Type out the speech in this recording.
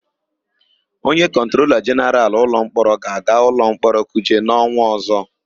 Onye Kọntrola Jenaralụ nke Ụlọmkpọrọ ga-aga ụlọmkpọrọ Kuje n'ọnwa ọ̀zọ́.